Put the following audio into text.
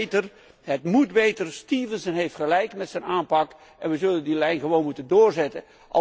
Het kan beter, het moet beter. De heer Stevenson heeft gelijk met zijn aanpak en we zullen die lijn gewoon moeten doorzetten.